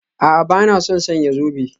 A'a, ba na son sanya zobe